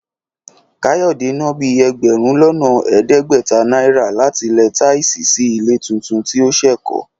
Káyọ̀dé ná bíi ẹgbẹ̀rún lọ́nà ẹ̀ẹ́dẹ́gbẹ̀ta náírà láti lẹ táìsì sí ilé tuntun tí ó ṣẹ̀ kọ́